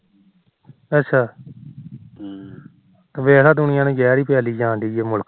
ਅੱਛਾ ਵੇਖ ਲਾ ਦੁਨੀਆਂ ਨੂੰ ਜਿਹਰ ਹੀ ਪਿਲਾਡ ਜਾ ਰਹੀ ਆ ਮੁਲਖ